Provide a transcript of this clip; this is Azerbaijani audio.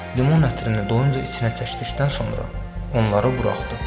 Limon ətrini doyunca içinə çəkdikdən sonra onları buraxdı.